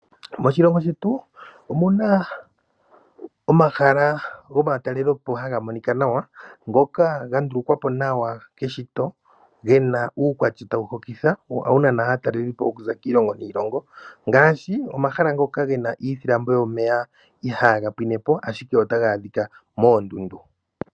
Moshilongo shetu omuna omahala gomatalelopo haga monika nawa ngoka ga ndulukwa po nawa keshito, gena uukwatya tawu hokitha wo ohawu nana aatalelipo okuza kiilongo niilongo. Ngaashi omahala ngoka gena iilambo yomeya ihaaga pwine po ashike otaga adhika moondundu.